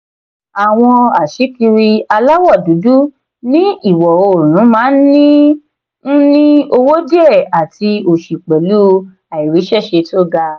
àwọn aṣíkiri aláwọ̀ dúdú ní ìwọ̀-oòrùn máa ń ní ń ní owó díẹ̀ àti òṣì pẹ̀lú àìríṣẹ́ṣe tó ga.